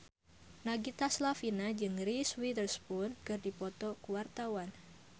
Nagita Slavina jeung Reese Witherspoon keur dipoto ku wartawan